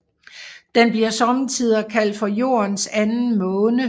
Den bliver sommetider kaldt for Jordens Anden Måne